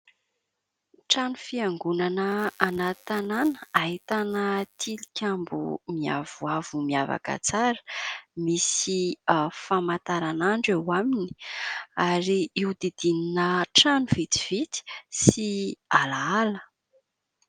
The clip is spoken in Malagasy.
Trano fiangonana anaty tanana ahitana tilikambo miavoavo miavaka tsara, misy famataranandro eo aminy ary io didinina trano vitsivitsy sy alaala.